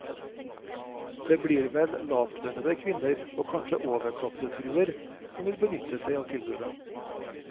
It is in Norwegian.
Det blir vel lavtlønnede kvinner, og kanskje overklassefruer, som vil benytte seg av tilbudet.